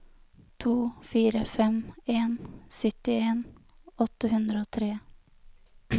to fire fem en syttien åtte hundre og tre